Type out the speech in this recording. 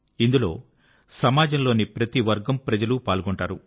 ఇందులో సమాజంలోని ప్రతి వర్గంలోని ప్రజలు పాల్గొంటారు